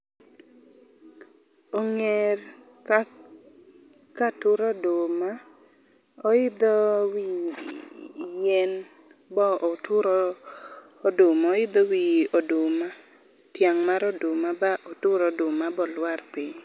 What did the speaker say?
ong'er ka katuro oduma oidho wi yien bo otur oduma, oidho wi oduma, tiang' mar oduma ba otur oduma bolwar piny.